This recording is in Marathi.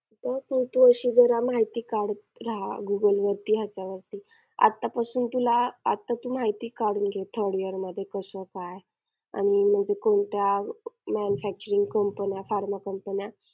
आणि त्यांच्या lecture मूळ आम्ही इतके म्हणजे आम्ही इतके active होतो ना मनानं बुद्धीनं सगळ्यांनी शरीराने त्यांच्या एका आवाजात इतकी ताकद ये ना की आमच पूर्ण हेच होत.